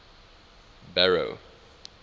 barrow